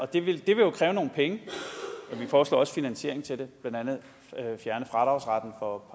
det vil jo kræve nogle penge vi foreslår også finansiering til det blandt andet at fjerne fradragsretten for